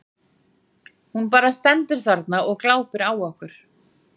Hún bara stendur þarna og glápir á okkur.